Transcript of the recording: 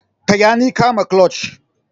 Taya ni kama clutch.